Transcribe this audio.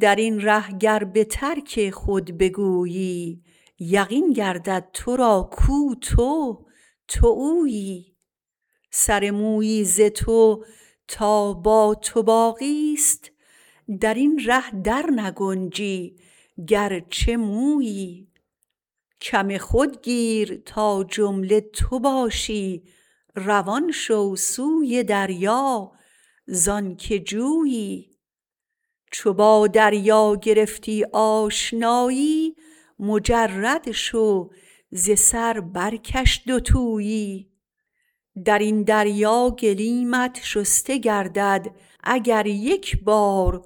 درین ره گر بترک خود بگویی یقین گردد تو را کو تو تو اویی سر مویی ز تو تا با تو باقی است درین ره در نگنجی گرچه مویی کم خود گیر تا جمله تو باشی روان شو سوی دریا زانکه جویی چو با دریا گرفتی آشنایی مجرد شو ز سر برکش دو تویی درین دریا گلیمت شسته گردد اگر یک بار